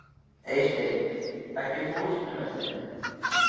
Eysteinn, ekki fórstu með þeim?